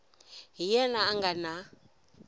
hi yena a nga na